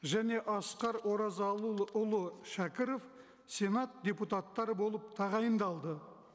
және асқар оразалы ұлы шәкіров сенат депутаттары болып тағайындалды